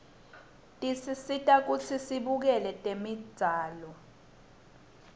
tesisita kutsi sibukele tembzalo